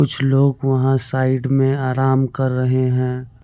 कुछ लोग वहाँ साइड में आराम कर रहे हैं।